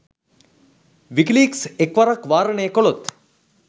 WikiLeaks එක් වරක් වාරණය කළොත්